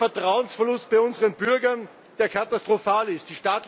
Ein Vertrauensverlust bei unseren Bürgern, der katastrophal ist.